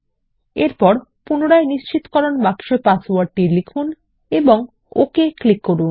এবং এছাড়াও পুনরায় নিশ্চিতকরণ বাক্সে পাসওয়ার্ড লিখুন এবং ওকে ক্লিক করুন